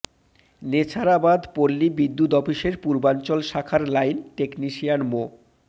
নেছারাবাদ পল্লী বিদ্যুৎ অফিসের পূর্বাঞ্চল শাখার লাইন টেকনিশিয়ান মো